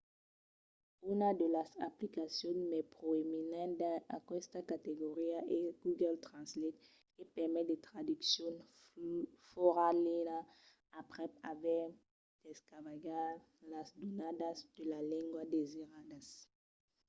una de las aplicacions mai proeminentas dins aquesta categoria es google translate que permet de traduccion fòra linha aprèp aver descargat las donadas de la lenga desiradas